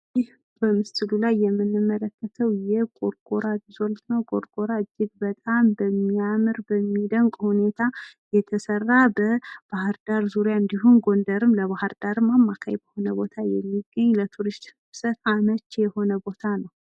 ይህ በምስሉ የምንመለከተው የጎርጎራ ሪዞርት ነው። ጎርጎራ እጅግ በጣም በሚያምር በሚደንቅ ሁኔታ የተሰራ በባህርዳር ዙሪያ እንድሁም ጎንደርም ለባህርዳርም አማካይ በሆነ ቦታ የሚገኝ ለቱሪስት መስህብ አመች የሆነ ቦታ ነው።